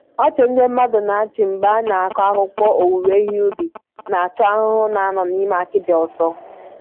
Ọchị ndị mmadụ na-achị mgbe a na-akọ akụkọ owuwe ihe ubi na-achụ ahụhụ na-anọ n'ime akịdị ọsọ